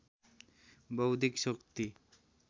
बौद्धिक शक्ति